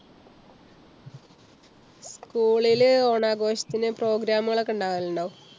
school ല് ഓണ ആഘോഷത്തിന് programme കളൊക്കെ ഉണ്ടാകലുണ്ടോ?